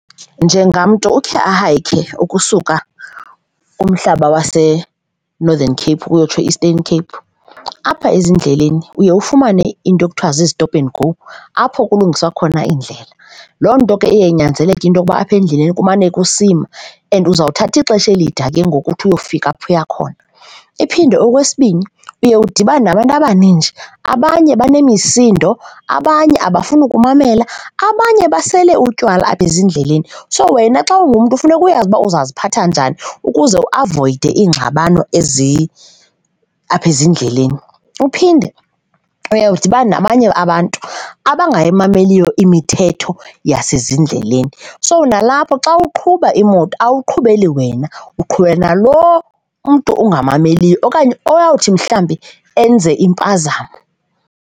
Njengamntu ukhe ahayikhe ukusuka kumhlaba waseNorthen Cape uyotsho e-Eastern Cape, apha ezindleleni uye ufumane into ekuthiwa zii-stop and go, apho kulungiswa khona indlela. Loo nto ke iye inyanzeleke into yokuba apha endleleni kumane kusimwa and uzowuthatha ixesha elide ke ngoku ukuthi uyofika apho uya khona. Iphinde okwesibini, uye udibane nabantu abaninji, abanye benemisindo, abanye abafuni ukumamela, abanye basele utywala apha ezindleleni. So, wena xa ungumntu funeka uyazi uba uziphatha njani ukuze uavoyide iingxabano ezi apha ezindleleni. Uphinde uye udibane nabanye abantu abangayimameliyo imithetho yasezindleleni. So, nalapho xa uqhuba imoto awuqhubeli wena, uqhubela nalo umntu ungamameliyo okanye oyawuthi mhlawumbi enze impazamo.